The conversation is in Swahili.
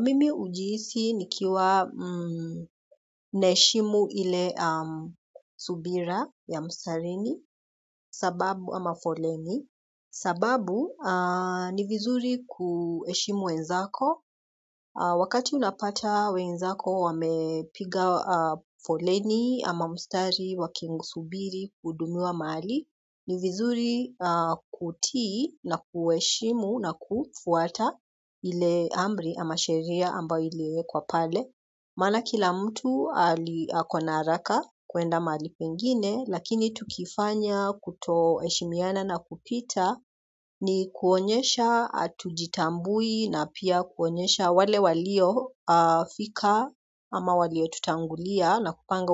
Mimi hujihisi nikiwa naheshimu ile subira ya mstarini sababu ama foleni. Sababu ni vizuri kuheshimu wenzako. Wakati unapata wenzako wamepiga foleni ama mstari wakisubiri kuhudumiwa mahali. Ni vizuri kutii na kuheshimu na kufuata ile amri ama sheria ambayo iliwekwa pale maana kila mtu ali ako na haraka kuenda mahali pengine lakini tukifanya kutoheshimiana na kupita ni kuonyesha hatujitambui na pia kuonyesha wale waliofika ama waliotutangulia na kupanga